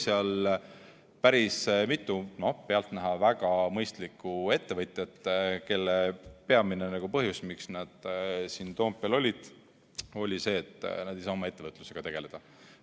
Siis oli seal päris mitu pealtnäha väga mõistlikku ettevõtjat, kelle peamine põhjus, miks nad siin Toompeal olid, oli see, et nad ei saa oma ettevõtlusega tegeleda.